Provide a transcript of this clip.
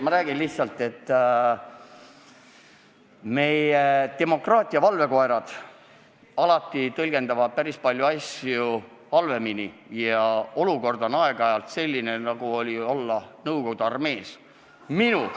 Ma räägin lihtsalt, et meie demokraatia valvekoerad alati tõlgendavad päris paljusid asju halvemini ja olukord on aeg-ajalt selline, nagu olevat olnud Nõukogude armees.